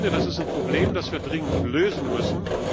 Das ist ein Problem, das wir dringend lösen müssen.